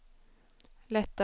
lättare